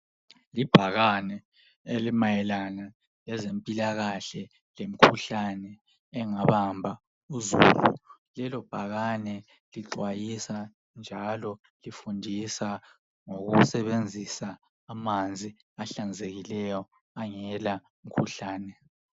Libhakane elimayelana lezempilakahle lemikhuhlane engabamba uzulu. Ibhakane lixwayisa njalo lifundisa ngokusebenzisa amanzi ahlanzekileyo angela mkhuhlane.